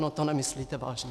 No to nemyslíte vážně?